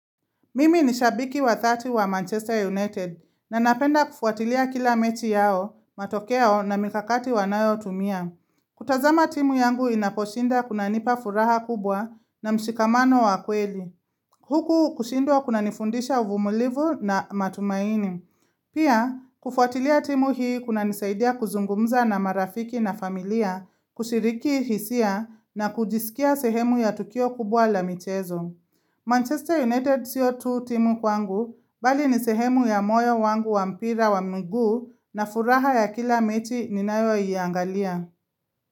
Mimi ni shabiki wa dhati wa Manchester United na napenda kufuatilia kila mechi yao, matokeo na mikakati wanayo tumia. Kutazama timu yangu inaposhinda kuna nipa furaha kubwa na mshikamano wa kweli. Huku kushindwa kuna nifundisha uvumulivu na matumaini. Pia, kufuatilia timu hii kuna nisaidia kuzungumza na marafiki na familia, kushiriki hisia na kujisikia sehemu ya tukio kubwa la michezo. Manchester United sio tu timu kwangu bali nisehemu ya moyo wangu wabmpira wa miguu na furaha ya kila mechi ninayoiangalia.